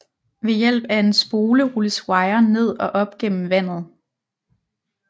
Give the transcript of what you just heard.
Ved hjælp af en spole rulles wiren ned og op gennem vandet